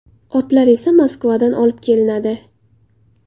Otlar esa Moskvadan olib kelinadi.